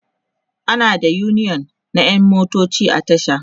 ana da uniyon na ƴan motoci a tasha